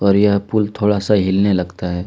और यह पुल थोड़ा सा हिलने लगता है।